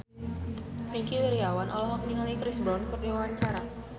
Wingky Wiryawan olohok ningali Chris Brown keur diwawancara